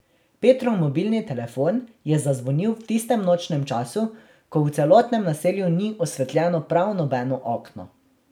Petrov mobilni telefon je zazvonil v tistem nočnem času, ko v celotnem naselju ni osvetljeno prav nobeno okno.